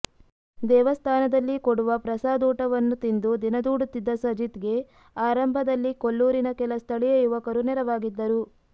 ದೇವಸ್ಥಾನದಲ್ಲಿ ಕೊಡುವ ಪ್ರಸಾದೂಟವನ್ನು ತಿಂದು ದಿನದೂಡುತ್ತಿದ್ದ ಸಜಿತ್ಗೆ ಆರಂಭದಲ್ಲಿ ಕೊಲ್ಲೂರಿನ ಕೆಲ ಸ್ಥಳೀಯ ಯುವಕರು ನೆರವಾಗಿದ್ದರು